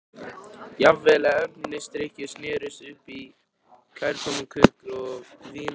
Jafnvel erfisdrykkjur snerust upp í kærkominn köku- og vinafagnað.